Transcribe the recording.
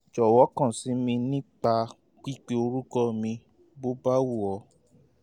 jọ̀wọ́ kàn sí mi nípa pípe orúkọ mi bó bá wù ọ́